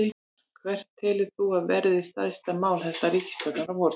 Gunnar: Hvert telur þú að verði stærsta mál þessarar ríkisstjórnar á vorþingi?